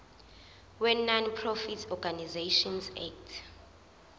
wenonprofit organisations act